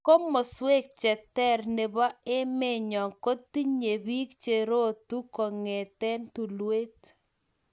Komoswek che ter nebo emenyo kotinye pek che rotu kongete tulwet